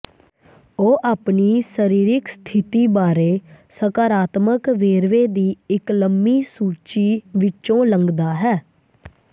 ਉਹ ਆਪਣੀ ਸਰੀਰਿਕ ਸਥਿਤੀ ਬਾਰੇ ਸਕਾਰਾਤਮਕ ਵੇਰਵੇ ਦੀ ਇੱਕ ਲੰਮੀ ਸੂਚੀ ਵਿੱਚੋਂ ਲੰਘਦਾ ਹੈ